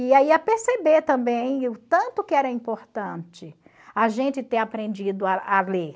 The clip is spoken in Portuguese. E a perceber também o tanto que era importante a gente ter aprendido a a ler.